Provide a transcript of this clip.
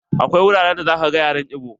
Akwai wuraren da za ka gan yaren ibo.